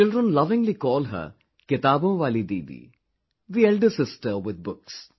Children lovingly call her 'kitabon waali Didi', the elder sister with books